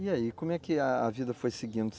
E aí, como é que a vida foi seguindo?